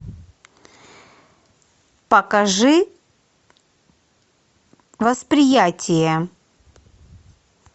покажи восприятие